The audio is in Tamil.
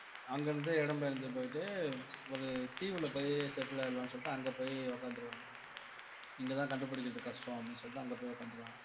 அங்க இருந்து இடம் பெயர்ந்து போயிட்டு ஒரு தீவுல போயி settle ஆயிடலாம்னு சொல்லிட்டு அங்க போய் உட்கார்ந்துடுவாங்க இங்கதான் கண்டுபிடிக்கிறது கஷ்டம் அப்படின்னு சொல்லிட்டு அங்க போய் உட்கார்ந்துடுவாங்க